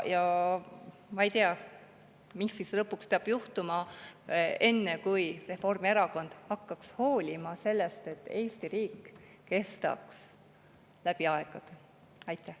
Ja ma ei tea, mis lõpuks peab juhtuma, enne kui Reformierakond hakkab hoolima sellest, et Eesti riik kestaks läbi aegade.